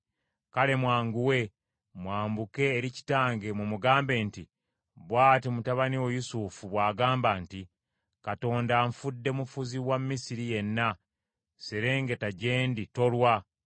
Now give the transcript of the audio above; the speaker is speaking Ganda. Kale mwanguwe, mwambuke eri kitange mumugambe nti, ‘Bw’ati mutabani wo Yusufu bw’agamba nti, Katonda anfudde mufuzi wa Misiri yenna; serengeta gye ndi, tolwa;